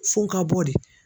F'u ka bɔ de.